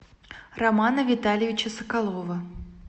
романа витальевича соколова